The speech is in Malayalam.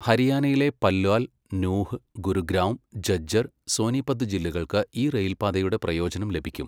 ഹരിയാനയിലെ പല്വാൽ, നൂഹ്, ഗുരുഗ്രാം, ഝജ്ജർ, സോനീപത് ജില്ലകൾക്ക് ഈ റെയിൽ പാതയുടെ പ്രയോജനം ലഭിക്കും.